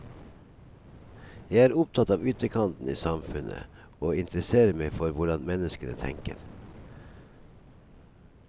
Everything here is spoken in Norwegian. Jeg er opptatt av ytterkantene i samfunnet, og interesserer meg for hvordan menneskene tenker.